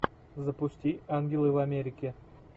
запусти ангелы в америке